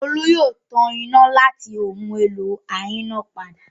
Olú yóò ta iná láti ohun-èlò ayínápadà.